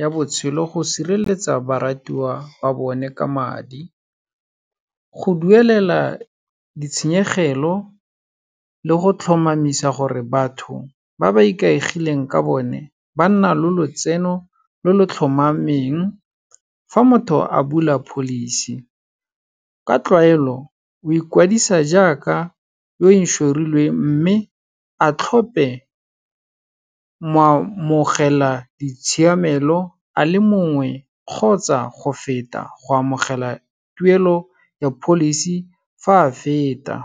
ya botshelo, go sireletsa baratuwa ba bone ka madi. Go duelela ditshenyegelo le go tlhomamisa gore batho ba ba ikaegileng ka bone, banna le lotseno lo lo tlhomameng. Fa motho a bula policy, ka tlwaelo o ikwadisa jaaka yo inšorilweng mme a tlhope mo amogela ditshiamelo a le mongwe kgotsa go feta, go amogela tuelo ya policy fa a feta.